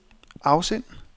afsend